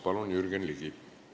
Palun, Jürgen Ligi!